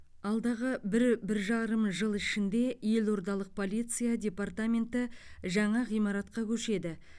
алдағы бір бір жарым жыл ішінде елордалық полиция департаменті жаңа ғимаратқа көшеді